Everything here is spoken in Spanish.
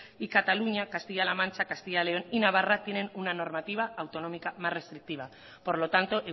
y cataluña castilla la mancha castilla y león y navarra tiene una normativa autonómica más restrictiva por lo tanto